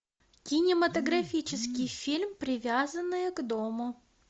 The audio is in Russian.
кинематографический фильм привязанная к дому